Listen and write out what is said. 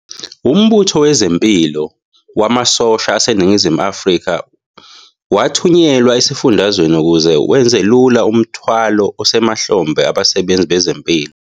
UMbutho Wezempilo Wamasosha aseNingizimu Afrika wathunyelwa esifundazweni ukuze wenzelula umthwalo osemahlombe abasebenzi bezempilo.